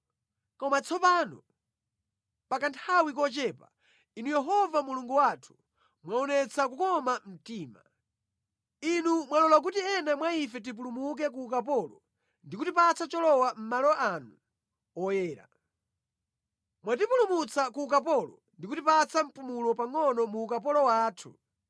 “Koma tsopano, pa kanthawi kochepa, Inu Yehova Mulungu wathu mwaonetsa kukoma mtima. Inu mwalola kuti ena mwa ife tipulumuke ku ukapolo ndi kutipatsa cholowa mʼmalo anu oyera. Mwatipulumutsa ku ukapolo ndi kutipatsa mpumulo pangʼono mu ukapolo wathu.